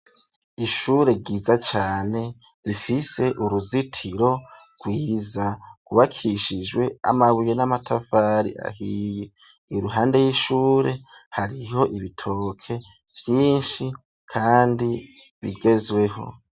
Ishure ryiza cane, rifise uruzitiro rwiza; rwubakishijwe amabuye, n'amatafari ahiye; iruhande y'ishure, hariho ibitoke vyinshi, kandi bigezweho.